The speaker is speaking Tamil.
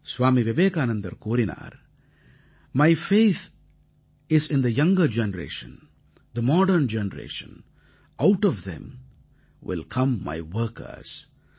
ஸ்வாமி விவேகானந்தர் கூறினார் my faith is in the younger generation the modern generation out of them will come my workers